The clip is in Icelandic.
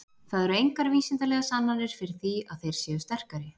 Það eru engar vísindalegar sannanir fyrir því að þeir séu sterkari.